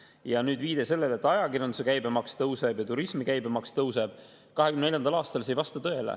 Ja viide sellele, et ajakirjanduse käibemaks ja turismi käibemaks tõusevad 2024. aastal, ei vasta tõele.